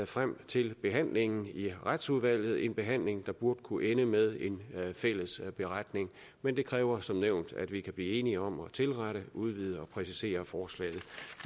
frem til behandlingen i retsudvalget en behandling der burde kunne ende med en fælles beretning men det kræver som nævnt at vi kan blive enige om at tilrette udvide og præcisere forslaget